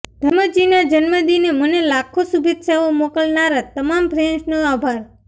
ધર્મજીના જન્મદિને મને લાખો શુભેચ્છાઓ મોકલનારા તમામ ફેન્સનો આભાર